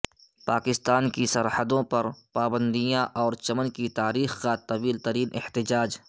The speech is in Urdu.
پاکستان کی سرحدوں پر پابندیاں اور چمن کی تاریخ کا طویل ترین احتجاج